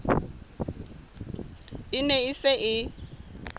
e ne e se e